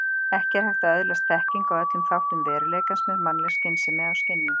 Ekki er hægt að öðlast þekkingu á öllum þáttum veruleikans með mannleg skynsemi og skynjun.